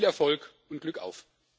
Viel Erfolg und Glückauf!